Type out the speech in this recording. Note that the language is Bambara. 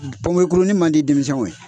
Pɔnpekuruni man di denmisɛnw ye